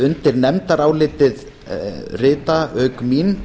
undir nefndarálitið rita auk mín